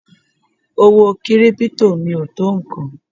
Owó kírípítò mi ò tó nǹkan.